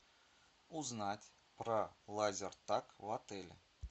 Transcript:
узнать про лазертаг в отеле